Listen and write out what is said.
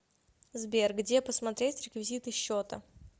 сбер где посмотреть реквизиты счета